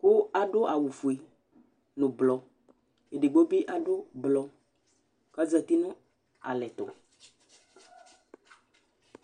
kʋ aɖu awu fʋe ŋu blɔ Ɛɖigbo bi aɖu blɔ kʋ azɛti ŋu alɛtu